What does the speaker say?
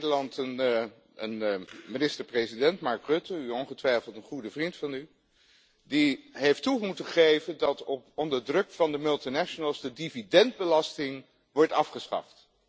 Wij hebben in Nederland een minister president, Mark Rutte, ongetwijfeld een goede vriend van u, die heeft moeten toegeven dat onder druk van de multinationals de dividendbelasting wordt afgeschaft.